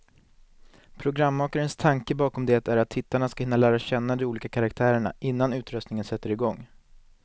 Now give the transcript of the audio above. Programmakarnas tanke bakom det är att tittarna ska hinna lära känna de olika karaktärerna, innan utröstningen sätter igång.